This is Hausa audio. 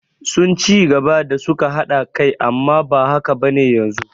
Sun ci gaba da suka haɗa kai amma ba haka bane yanzu